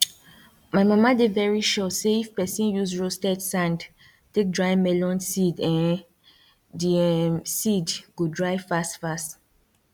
my mama dey very sure say if pesin use roasted sand take dry melon seed um di um seed go dry fast fast